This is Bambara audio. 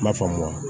N m'a faamu